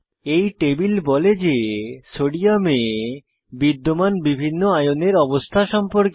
এই টেবিল বলে যে সোডিয়ামে বিদ্যমান বিভিন্ন আয়নের অবস্থা সম্পর্কে